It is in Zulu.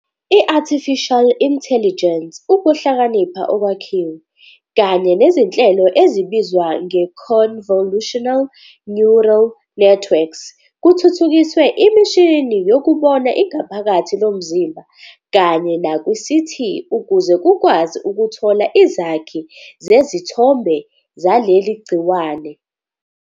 i-Artificial intelligence, ukuhlakanipha okwakhiwe, kanye nezinhlelo ezibizwa nge-convolutional neural networks kuthuthukisiwe emishinini youkubona ingaphakathi lomzimba kanye nakwi-CT ukuze kukwazi ukuthola izakhi zezithombe zaleli gciwane.